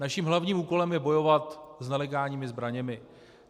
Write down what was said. Naším hlavním úkolem je bojovat s nelegálními zbraněmi.